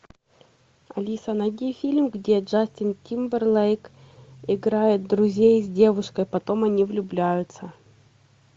алиса найди фильм где джастин тимберлейк играет друзей с девушкой потом они влюбляются